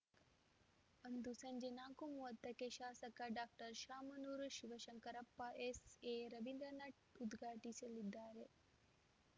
ಅಂದು ಸಂಜೆ ನಾಕು ಮೂವತ್ತ ಕ್ಕೆ ಶಾಸಕ ಡಾಕ್ಟರ್ ಶಾಮನೂರು ಶಿವಶಂಕರಪ್ಪ ಎಸ್‌ಎರವಿಂದ್ರನಾಥ್‌ ಉದ್ಘಾಟಿಸಲಿದ್ದಾರೆ